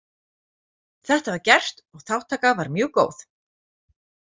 Þetta var gert og þátttaka var mjög góð.